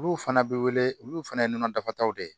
Olu fana bɛ wele olu fana ye nɔnɔ da taw de